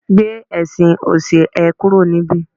gbe ẹsìn òṣì e kúrò nibi